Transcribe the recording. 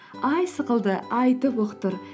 ай сықылды айтып ұқтыр